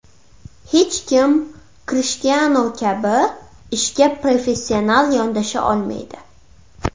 Hech kim Krishtianu kabi ishga professional yondasha olmaydi.